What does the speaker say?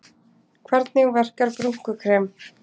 Hvernig verkar brúnkukrem?